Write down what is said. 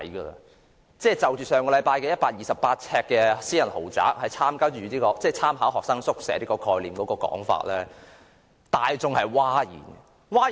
上星期有人提出128平方呎私人豪宅是參考學生宿舍概念的說法，令大眾譁然。